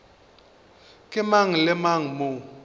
ke mang le mang mo